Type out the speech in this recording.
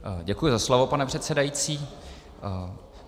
Děkuji za slovo, pane předsedající.